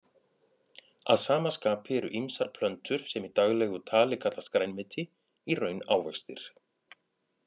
Að sama skapi eru ýmsar plöntur sem í daglegu tali kallast grænmeti í raun ávextir.